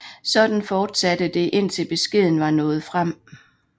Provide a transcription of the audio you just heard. Sådan fortsatte det indtil beskeden var nået frem